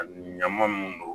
Ɲama mun don